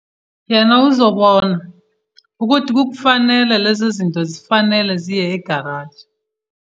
Yena uzobona ukuthi kukufanele lezozinto zifanele ziye egalaji.